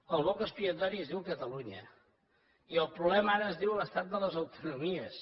el boc expiatori es diu catalunya i el problema ara es diu l’estat de les autonomies